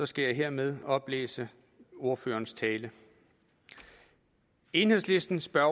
skal jeg hermed oplæse ordførerens tale enhedslisten spørger